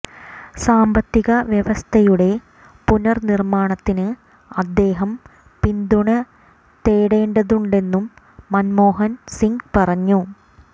സാമ്പത്തിക വ്യവസ്ഥയുടെ പുനഃനിർമ്മാണത്തിന് അദ്ദേഹം പിന്തുണ തേടേണ്ടതുണ്ടെന്നും മന്മോഹൻ സിങ് പറഞ്ഞു